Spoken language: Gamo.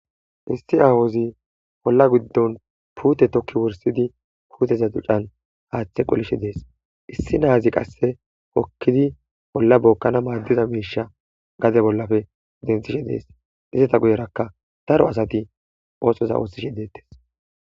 issi awozi olla giddon puute tokki wursidi puuteza ducan haaththe qolishe dees issi naazi qasse okkidi bolla bookkana maaddiza miisha gade bollafe denthishe dees izata guyerakka daro asati oosoza oossishe deettes